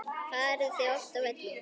Farið þið oft á völlinn?